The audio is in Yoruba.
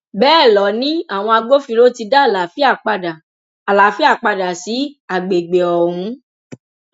bẹẹ lọ ni àwọn agbófinró ti dá àlàáfíà padà àlàáfíà padà sí àgbègbè ọhún